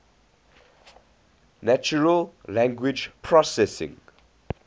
natural language processing